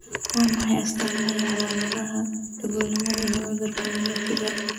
Waa maxay astamaha iyo calaamadaha Dhagoolnimada iyo cudurka myopiga?